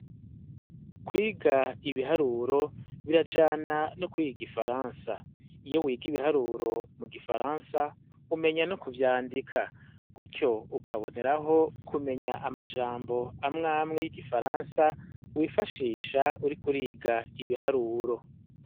Kwiga ibiharuro birajana no kwiga igifaransa. Iyo wiga ibiharuro mu gifaransa, umenya no kuvyandika, gutyo ukaboneraho kumenya amajambo amwe amwe y'igifaransa wifashisha uriko uriga ibiharuro.